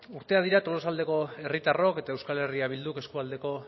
urteak dira tolosaldeko herritarrok eta euskal herria bilduk eskualdeko